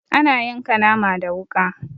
Ana yanka nama da wuƙa.